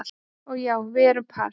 Og já, við erum par